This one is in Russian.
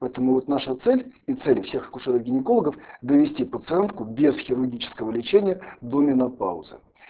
поэтому вот наша цель и цель всех акушеров гинекологов довести пациентку без хирургического лечения до менопаузы